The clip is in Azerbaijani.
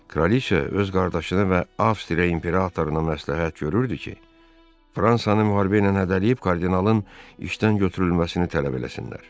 Kraliça öz qardaşını və Avstriya imperatoruna məsləhət görürdü ki, Fransanı müharibə ilə hədələyib, kardinalın işdən götürülməsini tələb eləsinlər.